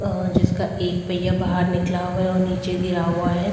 जिसका एक पैया बाहर निकला हुआ है और नीचे गिरा हुआ है।